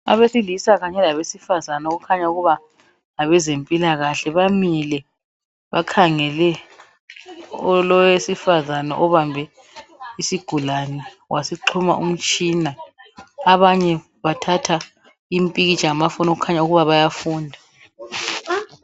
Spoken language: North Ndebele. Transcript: Abesilisa kanye labesifazana okukhanya ukuba ngabezempilakahle bamile bakhangele owesifazana obambe isigulane wasixhuma umtshina abanye bathatha impikitsha ngamafoni okukhanya ukuba bayafunda.